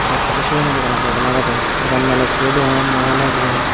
ekaray cement dogano dok lagede dogan malikku o doganan nw hulay gi.